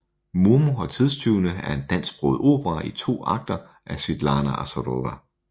Momo og tidstyvene er en dansksproget opera i to akter af Svitlana Azarova